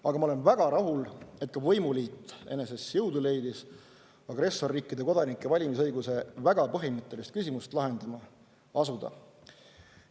Aga ma olen väga rahul, et ka võimuliit leidis eneses jõudu agressorriikide kodanike valimisõiguse väga põhimõttelist küsimust lahendama asuda.